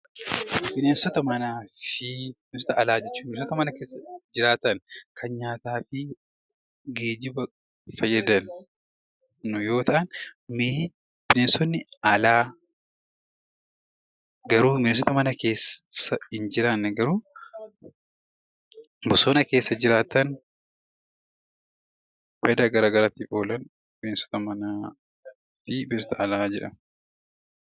Bineensota manaa fi bineensota alaa jechuun kan nyaataa fi geejjibaaf fayyadan mee bineensonni mana keessaa jiraatanidha.